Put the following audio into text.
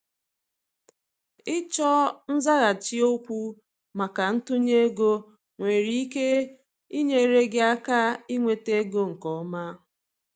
ịchọ nzaghachi okwu maka ntunye ego nwere ike inyere gị aka inweta ego nke ọma.